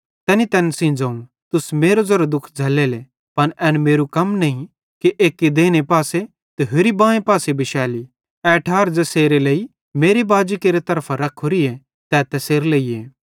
तैनी तैन सेइं ज़ोवं तुस मेरे ज़ेरो दुःख झ़ल्लेले पन एन मेरू कम नईं कि एक्की देइने पासे ते होरि बांए पासे बिशैली ए ठार ज़ेसेरे लेइ मेरे बाजेरे तरफां रखोरीए तै तैसेरे लेइए